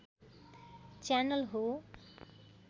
channel हो